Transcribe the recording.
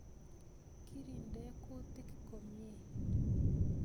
Kirinde kutik komyei